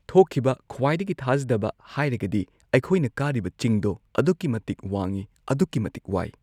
ꯊꯣꯛꯈꯤꯕ ꯈ꯭ꯋꯥꯏꯗꯒꯤ ꯊꯥꯖꯗꯕ ꯍꯥꯏꯔꯒꯗꯤ ꯑꯩꯈꯣꯏꯅ ꯀꯥꯔꯤꯕ ꯆꯤꯡꯗꯣ ꯑꯗꯨꯛꯀꯤ ꯃꯇꯤꯛ ꯋꯥꯡꯉꯤ ꯑꯗꯨꯛꯀꯤ ꯃꯇꯤꯛ ꯋꯥꯏ꯫